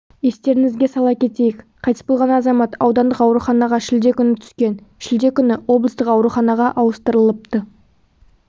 естеріңізге сала кетейік қайтыс болған азамат аудандық ауруханаға шілде күні түскен шілде күні облыстық ауруханаға ауыстырылыпты